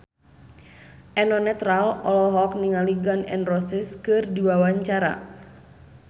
Eno Netral olohok ningali Gun N Roses keur diwawancara